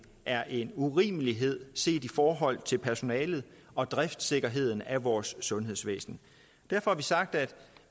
er en urimelighed set i forhold til personalet og driftssikkerheden af vores sundhedsvæsen derfor har vi sagt at